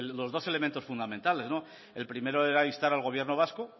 los dos elementos fundamentales el primero era instar al gobierno vasco